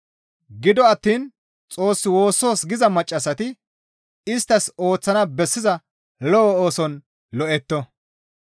Gido attiin Xoos woossoos giza maccassati isttas ooththana bessiza lo7o ooson lo7etto.